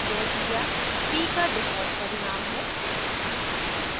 यह क्रिया p का default परिणाम है